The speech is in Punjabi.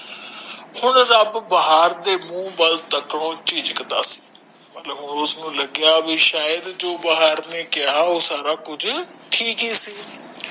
ਹੁਣ ਰੱਬ ਬਾਹਰ ਦੇ ਮੂੰਹ ਵਾਲ ਝਿਜਹਕ ਦਾ ਆ ਮਤਲਬ ਕਹਿੰਦਾ ਜੋ ਬਾਹਰ ਨੇ ਕਿਹਾ ਠੀਕ ਏ ਸੀ